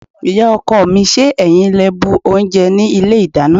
Ìyá-ọkọ mi, ṣé ẹ̀yin lẹ bu oúnjẹ ní ilé-ìdáná?